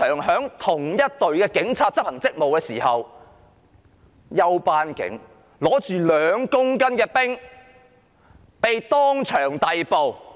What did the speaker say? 在同一隊警察執行職務時，休班警署警長手執2公斤冰毒被當場逮捕。